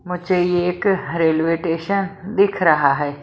मुझे ये एक रेलवे टेशन दिख रहा है।